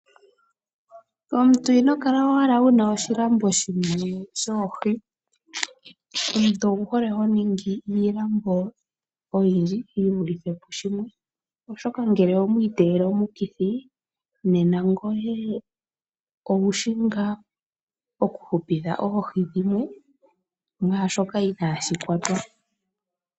Omuntu inokala owala wuna oshilambo shimwe shoohi. Omuntu owuhole honingi iilambo oyindji yivulithe pushimwe oshoka ngele omwiiteyele omukithi, nena ngoye owushi ngaa okuhupitha oohi dhimwe mwaashoka inaashi kwatwa.